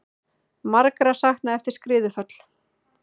Margra saknað eftir skriðuföll